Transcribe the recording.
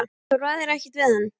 Þú ræður ekkert við hann.